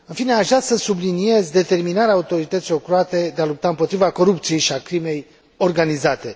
În fine, aș vrea să subliniez determinarea autorităților croate de a lupta împotriva corupției și a crimei organizate.